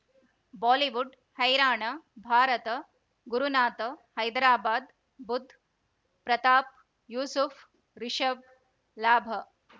Bollywood ಹೈರಾಣ ಭಾರತ ಗುರುನಾಥ ಹೈದರಾಬಾದ್ ಬುಧ್ ಪ್ರತಾಪ್ ಯೂಸುಫ್ ರಿಷಬ್ ಲಾಭ